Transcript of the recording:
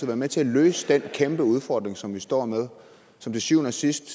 være med til at løse den kæmpeudfordring som vi står med og som til syvende og sidst